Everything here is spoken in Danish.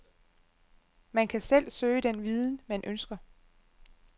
Man kan selv søge den viden, man ønsker.